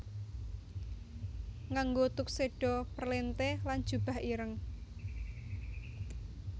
Nganggo tuxedo perlrnte lan jubah ireng